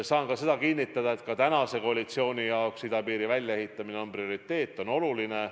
Saan ka seda kinnitada, et koalitsiooni jaoks on idapiiri väljaehitamine prioriteet, see on oluline.